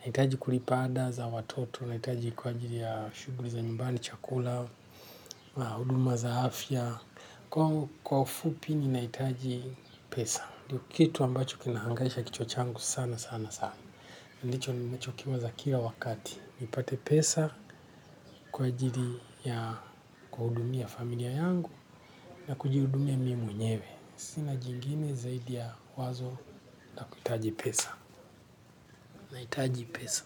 Nahitaji kulipa ada za watoto, nahitaji kwa ajili ya shughuli za nyumbani chakula, huduma za afya. Kwa ufupi ni nahitaji pesa. Ndio kitu ambacho kinahangaisha kichwa changu sana sana sana. Ndicho ninachokiwaza kila wakati. Nipate pesa kwa ajili ya kuwahudumia familia yangu na kujihudumia mimi mwenyewe. Sina jingine zaidi ya wazo na kuhitaji pesa. Nahitaji pesa.